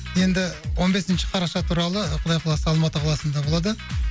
енді он бесінші қараша туралы құдай қаласа алматы қаласында болады